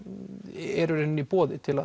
eru í rauninni í boði til að